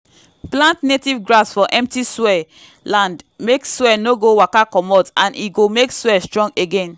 plant native grass for empty soil land make soil no go waka comot and e go make soil strong again